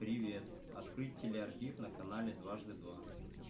привет открыть телеархив на канале дважды два